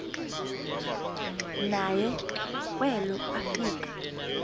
naye kwelo afika